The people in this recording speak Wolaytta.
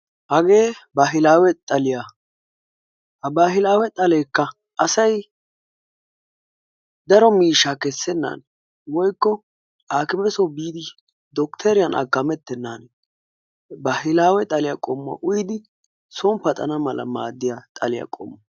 Hage baahilawe xaliyaa. ha baahilawe xalekka asay daro miishsha kessenan woykko aakime soo biidi dokittoriyan aakametenan baahilawe xaliyaa qommuwa uyyidi soon paxana mala maaddiyaa xaliya qommuwaa.